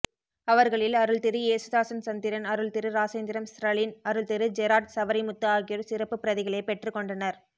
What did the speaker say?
அவர்களில் அருள்திரு யேசுதாசன் சந்திரன் அருள்திரு இராசேந்திரம் ஸ்ரலின் அருள்திரு ஜெறாட் சவரிமுத்து ஆகியோர் சிறப்புப்பிரதிகளைப் பெற்றுக் கொண்டனர்